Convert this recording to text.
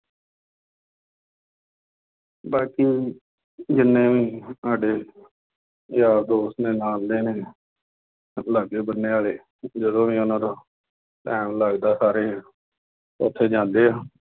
ਬਾਕੀ ਜਿੰਨੇ ਵੀ ਸਾਡੇ ਯਾਰ ਦੋਸਤ ਮੇਰੇ ਨਾਲ ਦੇ ਨੇ, ਸਭ ਲਾਗੇ ਬੰਨੇ ਵਾਲੇ ਜਦੋਂ ਵੀ ਉਹਨਾ ਤੋਂ time ਲੱਗਦਾ ਸਾਰੇ ਉੱਥੇ ਜਾਦੇ ਆ।